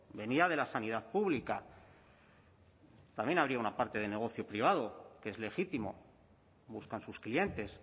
venía de la sanidad pública también habría una parte del negocio privado que es legítimo buscan sus clientes